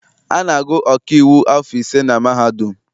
A na-agụ ọkaiwu afọ ise na mahadum.